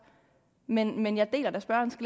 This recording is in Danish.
men jeg deler da